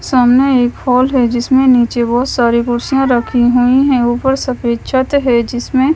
सामने एक हॉल है जिसमें नीचे बहुत सारी कुर्सियां रखी हुई हैं ऊपर सफेद छत है जिसमें--